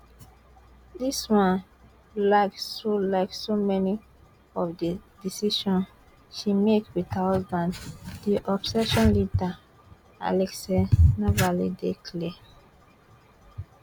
this one like so like so many of di decisions she make wit her husband di opposition leader alexei navalny dey clear